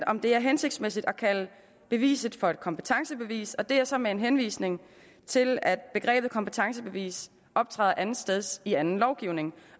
om det er hensigtsmæssigt at kalde beviset for et kompetencebevis og det er så med en henvisning til at begrebet kompetencebevis optræder andetsteds i anden lovgivning